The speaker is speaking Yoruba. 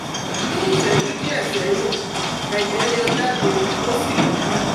Nih ìṣẹ́jú díẹ̀ sẹ́yìn, ẹjẹ̀ yọ jade ó sì dúdú